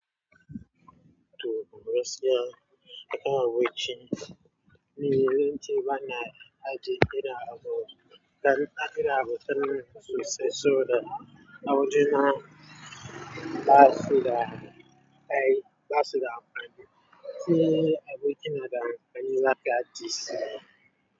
Toh, gaskiya, akwai abinci. Ni yawanci ba na ajiye, irin abu. Dan ina abu ta nan sosai, so da a wajena ba su da kai, ba su da amfani. Ni aboki na da mafani, za ka ji sihiri.